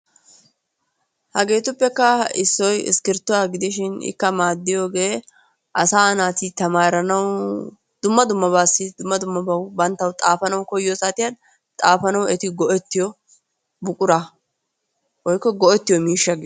Hageettuppekka issoy iskirttuwa giidishin ikka maaddiyoogee asaa naati tamaaranawu dumma dummabawu banttawu xaafanawu eti goettiyo buquraa woikko goettiyo miishshaa.